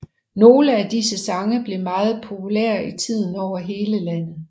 Nogle af disse sange blev meget populære i tiden over hele landet